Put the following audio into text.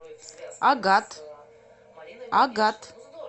агат агат